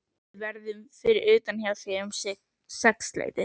Við verðum fyrir utan hjá þér um sexleytið.